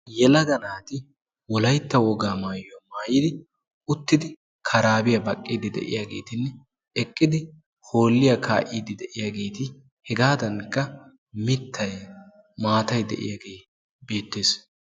Yelaga naati wolaytta wogaa maayuwaa maayiddi uttidi karabbiya baqqidi de'iyagettinne eqqidi hooliya kaa'idi de'iyaagaeti hegadankka mittayi maattay de'iyaagee beetees.